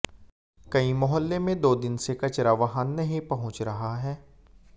कई मोहल्ले में दो दिन से कचरा वाहन नहीं पहुंच रहा है